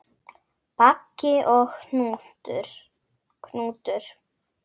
Baggi og Hnútur